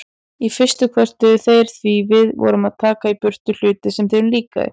Í fyrstu kvörtuðu þeir því við vorum að taka í burtu hluti sem þeim líkaði.